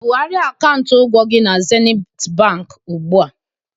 Bugharịa akaụntụ ụgwọ gị na Zenit Bank ugbu a!